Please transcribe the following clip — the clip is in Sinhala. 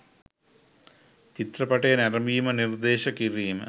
චිත්‍රපටය නැරඹීම නිර්දේශ කිරීම